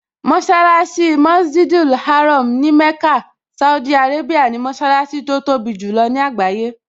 Mọṣálásí Masjid al-Haram ní Mecca, Saudi Arabia ni mọṣálásí tó tóbi jù lọ ní àgbáyé